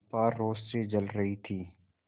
चंपा रोष से जल रही थी